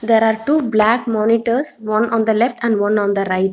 there are two black monitors one on the left and one on the right.